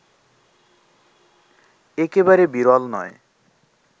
একেবারে বিরল নয়